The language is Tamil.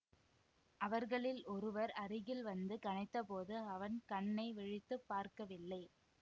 அவர்களில் ஒருவர் அருகில் வந்து கனைத்தபோது அவன் கண்ணை விழித்து பார்க்கவில்லை